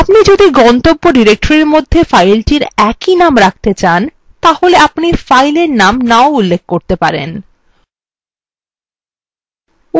আপনি যদি গন্তব্য directory মধ্যে file একই name রাখতে চান তাহলে আপনি file এর name না উল্লেখ করতে পারেন উদাহরণস্বরূপ লিখুন